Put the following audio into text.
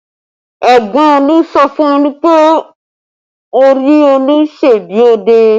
Ẹ̀gbọ́n Olu sọ fún Olu pé orí Olu ṣe bí ọ̀dẹ̀